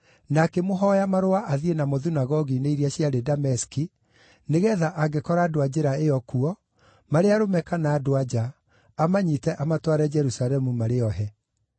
na akĩmũhooya marũa athiĩ namo thunagogi-inĩ iria ciarĩ Dameski, nĩgeetha angĩkora andũ a Njĩra ĩyo kuo, marĩ arũme kana andũ-a-nja, amanyiite amatware Jerusalemu marĩ ohe.